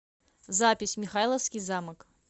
запись михайловский замок